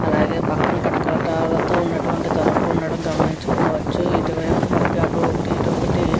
అలాగే పక్కన కటకటాలతో ఉన్నటువంటి తలుపు ఉండడం గమనించుకోవచ్చు ఇటువైపు మనకి అటు ఒకటి ఇటు ఒకటి --